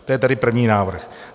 To je tedy první návrh.